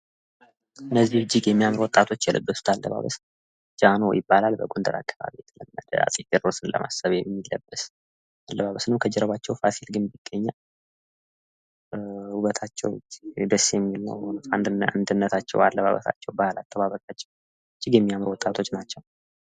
እነዚህ እጅግ ያማሩ ወጣቶች የለበሱት አለባበስ ጃኖሆይ ይባላል ፤ በጎንደር አከባቢ የተለመደ አጼ ቴዎድሮስን ለማሰብ የሚለበስ አለባበስ ነው ፤ ከጀርባቸው የፋሲል ግንብ ይገኛል ፤ እጅግ የሚያምሩ ወጣቶች ናቸው።